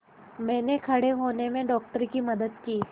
मैंने खड़े होने में डॉक्टर की मदद की